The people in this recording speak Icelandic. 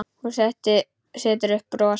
Hún setur upp bros.